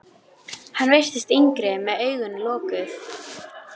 Mættum við ekkert gera sem hann væri ekki með í?